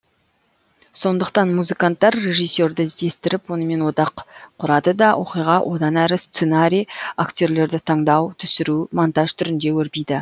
сондықтан музыканттар режиссерді іздестіріп онымен одақ құрады да оқиға одан әрі сценарий актерлерді таңдау түсіру монтаж түрінде өрбиді